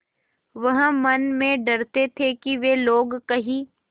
वह मन में डरते थे कि वे लोग कहीं